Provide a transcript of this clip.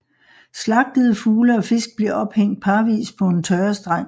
Slagtede fugle og fisk bliver ophængt parvis på en tørrestang